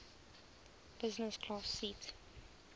business class seat